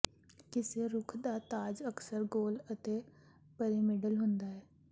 ਕਿਸੇ ਰੁੱਖ ਦਾ ਤਾਜ ਅਕਸਰ ਗੋਲ ਅਤੇ ਪਿਰਾਮਿਡਲ ਹੁੰਦਾ ਹੈ